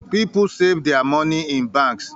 People sav their money in banks